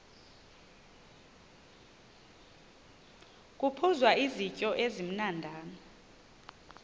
kuphuzwa izityo ezimnandana